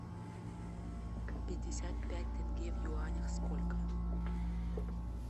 пятьдесят пять тенге в юанях сколько